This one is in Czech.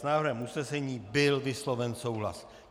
S návrhem usnesení byl vysloven souhlas.